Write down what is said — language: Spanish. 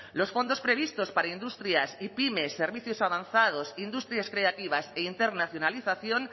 los fondos previstos para industrias y pymes servicios avanzados industrias creativas e internacionalización